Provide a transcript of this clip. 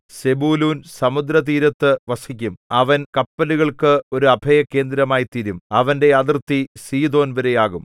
സെബൂലൂൻ സമുദ്രതീരത്തു വസിക്കും അവൻ കപ്പലുകൾക്ക് ഒരു അഭയകേന്ദ്രമായിത്തീരും അവന്റെ അതിർത്തി സീദോൻ വരെ ആകും